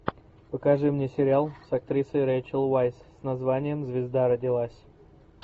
покажи мне сериал с актрисой рэйчел вайс с названием звезда родилась